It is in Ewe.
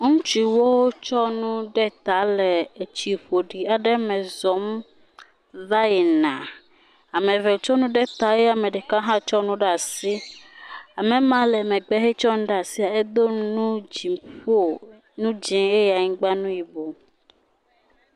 Ŋutsuwo kɔ nu ɖe ta le etsi ƒoɖi aɖe me zɔ̃m va yina. Ame eve tso nu ɖe ta eye ame ɖeka hã tsɔ nu ɖe asi. Ame ma le megbe hetsɔ nu ɖe asi edo nu dziƒo, nu dzɛ̃ eye anyigba nu yibɔ.